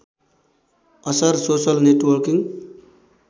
असर social networking